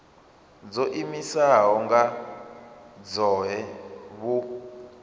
dzo iimisaho nga dzohe vhu